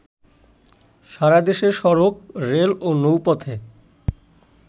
সারা দেশে সড়ক, রেল ও নৌপথে